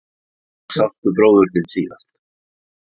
Hvenær sástu bróður þinn síðast?